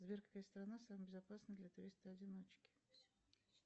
сбер какая страна самая безопасная для туриста одиночки